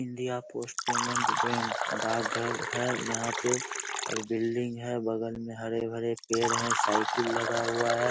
India post payment bank डाक घर है यहाँ पे और बिल्डिंग है बगल में हरे-भरे पेड़ हैं साइकिल लगा हुआ है।